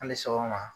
An bɛ so kɔnɔ